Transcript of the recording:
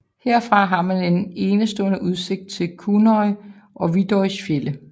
Herfra har man en enestående udsigt til Kunoy og Viðoys fjelde